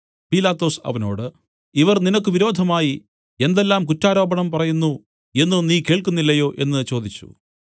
പീലാത്തോസ് അവനോട് ഇവർ നിനക്ക് വിരോധമായി എന്തെല്ലാം കുറ്റാരോപണം പറയുന്നു എന്നു നീ കേൾക്കുന്നില്ലയോ എന്നു ചോദിച്ചു